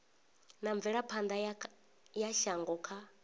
wa mvelaphana ya shango kha